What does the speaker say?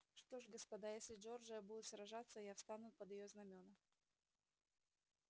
что ж господа если джорджия будет сражаться я встану под её знамёна